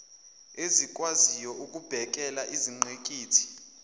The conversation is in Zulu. ezikwaziyo ukubhekela izingqikithi